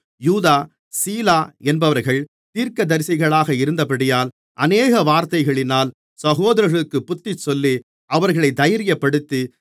யூதா சீலா என்பவர்கள் தீர்க்கதரிசிகளாக இருந்தபடியால் அநேக வார்த்தைகளினால் சகோதரர்களுக்குப் புத்திச்சொல்லி அவர்களைத் தைரியப்படுத்தி